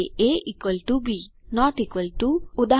A B not equal to ઉદા